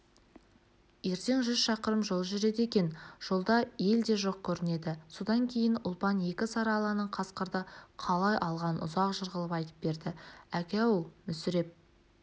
ертең жүз шақырым жол жүреді екен жолда ел де жоқ көрінеді содан кейін ұлпан екі сары аланың қасқырды қалай алғанын ұзақ жыр қылып айтып берді әке-ау мүсіреп